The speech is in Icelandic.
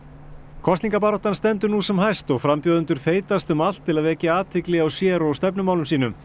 kosningabaráttan stendur nú sem hæst og frambjóðendur þeytast um allt til að vekja athygli á sér og stefnumálum sínum